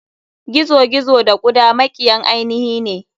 Gizo gizo da kuda makiyan ainihine.